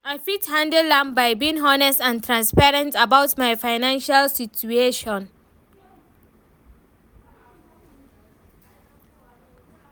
I fit handle am by being honest and transparent about my financial situation.